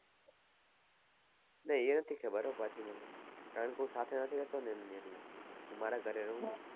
પન એ નથી છે કારણકે હું સાથે નથી રેહતો એટલે હું મારા ઘરે રહું